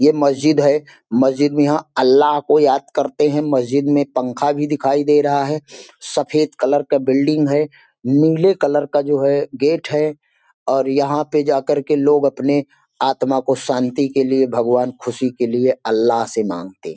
ये मस्जिद है मस्जिद में यहां अल्ला को याद करते हैं मस्जिद में पंखा भी दिखाई दे रहा है सफेद कलर का बिल्डिंग है नीले कलर का जो गेट है और यहां पे जा करके लोग अपने आत्मा को शांति के लिए भगवान खुशी के लिए अल्ला से मांगते हैं।